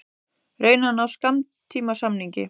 Reyna að ná skammtímasamningi